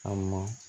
A ma